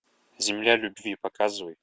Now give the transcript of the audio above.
земля любви показывай